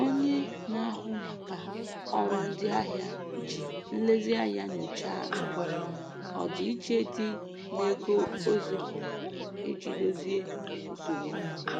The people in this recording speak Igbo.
Onye na-ahụ maka ọrụ ndị ahịa ji nlezianya nyochaa ọdịiche dị n'ego o zipụrụ iji dozie nsogbu ahụ.